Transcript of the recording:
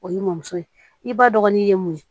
O ye mɔmuso ye i ba dɔgɔnin ye mun ye